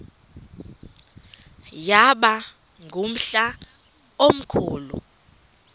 yaba ngumhla omkhulu